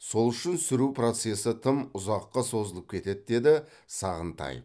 сол үшін сүру процесі тым ұзаққа созылып кетеді деді сағынтаев